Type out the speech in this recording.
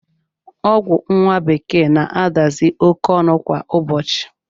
Ọgwụ nwa bekee na-adazi oké ọnụ kwa ụbọchị